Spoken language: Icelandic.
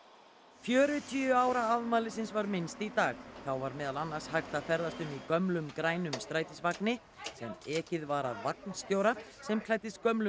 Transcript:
fjörutíu ára afmælisins var minnst í dag þá var meðal annars hægt að ferðast um í gömlum grænum strætisvagni sem ekið var af vagnstjóra sem klæddist gömlum